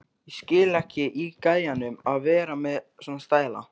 Ég skil ekki í gæjanum að vera með svona stæla!